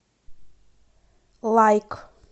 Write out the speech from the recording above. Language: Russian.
лайк